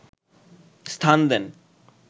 স্থান দেন